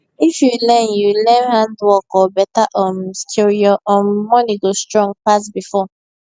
if you learn you learn handwork or beta um skill your um money go strong pass before